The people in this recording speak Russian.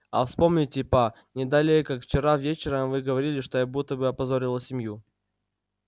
а вспомните па не далее как вчера вечером вы говорили что я будто бы опозорила семью